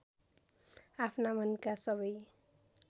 आफ्ना मनका सबै